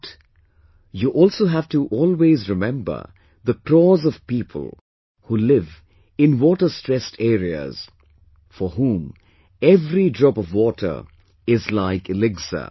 But, you also have to always remember the crores of people who live in waterstressed areas, for whom every drop of water is like elixir